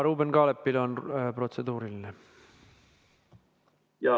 Ruuben Kaalepil on protseduuriline küsimus.